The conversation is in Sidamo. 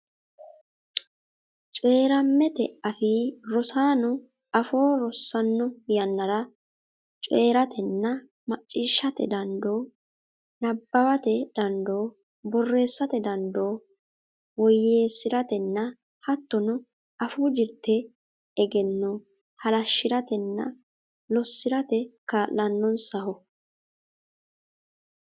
Coyi’rammete afii rosaano afoo rossanno yan- nara coyi’ratenna macciishshate dandoo, nabbawate dandoo, borreessate dandoo woyyeessi’ratenna hattono afuu jirte egenno halashshi’ratenna lossi’rate kaa’lannonsaho.